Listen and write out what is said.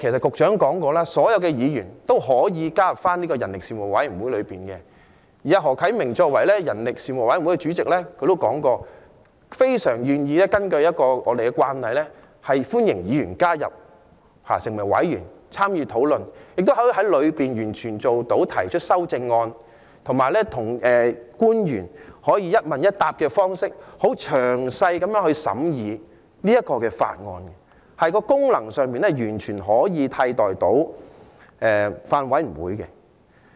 局長說過，所有議員都可以加入這個人力事務委員會，而何啟明議員作為人力事務委員會主席，他也表示，非常願意根據我們的慣例，歡迎議員加入成為委員參與討論，亦可以在事務委員會裏提出修正案，以及與官員以一問一答的方式詳細地審議這項《條例草案》，功能上完全可以替代法案委員會。